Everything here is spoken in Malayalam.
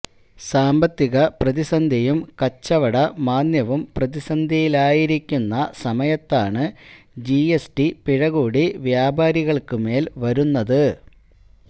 സാമ്പത്തിക പ്രതിസന്ധിയും കച്ചവട മാന്ദ്യവും പ്രതിസന്ധിയിലാക്കിയിരിക്കുന്ന സമയത്താണ് ജിഎസ്ടി പിഴ കൂടി വ്യാപാരികള്ക്കു മേല് വരുന്നത്